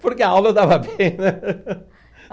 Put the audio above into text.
Porque a aula eu dava bem, né?